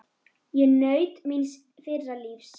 Ég naut míns fyrra lífs.